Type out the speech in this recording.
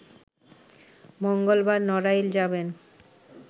মঙ্গলবার নড়াইল যাবেন